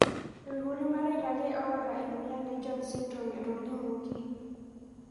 Ikutii mareita ake lota emoyian e jones syndrome etolimuoki.